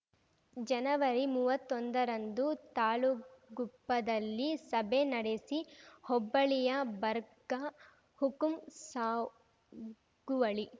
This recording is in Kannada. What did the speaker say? ಜನವರಿ ಮೂವತ್ತೊಂದರಂದು ತಾಳುಗುಪ್ಪದಲ್ಲಿ ಸಭೆ ನಡೆಸಿ ಹೋಬ್ಬಳಿಯ ಬಗರ್‌ ಹುಕುಂ ಸಾಗುವಳಿ